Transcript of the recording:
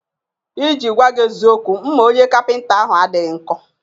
I ji gwaa gị eziokwu, mma onye kapịnta ahụ adịghọ nkọ